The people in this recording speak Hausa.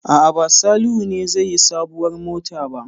A'a, ba Salihu ne zai yi sabuwar mota ba.